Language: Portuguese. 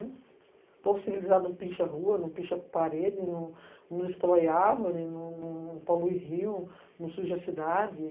O povo civilizado não pincha a rua, não pincha a parede, não destrói árvore, não polui rio, não suja a cidade.